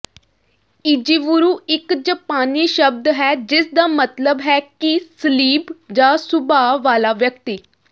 ਇਜੀਵੁਰੁ ਇੱਕ ਜਾਪਾਨੀ ਸ਼ਬਦ ਹੈ ਜਿਸਦਾ ਮਤਲਬ ਹੈ ਕਿ ਸਲੀਬ ਜਾਂ ਸੁਭਾਅ ਵਾਲਾ ਵਿਅਕਤੀ